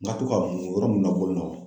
N ka to ka mun yɔrɔ mun